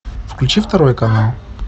включи второй канал